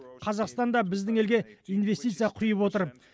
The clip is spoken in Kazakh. қазақстан да біздің елге инвестиция құйып отыр